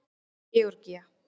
Georgía